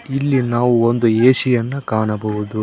ಇಲ್ಲಿ ನಾವು ಒಂದು ಎ_ಸಿ ಯನ್ನ ಕಾಣಬಹುದು.